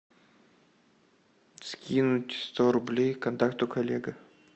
скинуть сто рублей контакту коллега